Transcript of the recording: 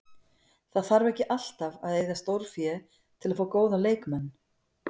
Það þarf ekki alltaf að eyða stórfé til að fá góða leikmenn.